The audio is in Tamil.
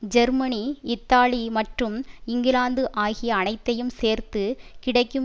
ஜெர்மனி இத்தாலி மற்றும் இங்கிலாந்து ஆகிய அனைத்தையும் சேர்த்து கிடைக்கும்